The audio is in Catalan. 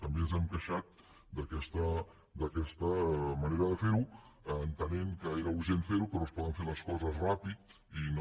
també ens hem queixat d’aquesta manera de fer ho entenent que era urgent fer ho però es poden fer les coses ràpid i no